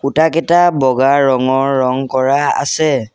খুঁটাকিতা বগা ৰঙৰ ৰং কৰা আছে।